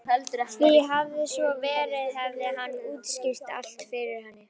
Því hefði svo verið hefði hann útskýrt allt fyrir henni.